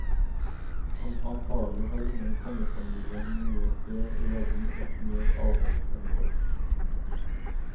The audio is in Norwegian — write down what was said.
Antagelig har ingen kongefamilie noe sted i verden vært mer avholdt enn vår.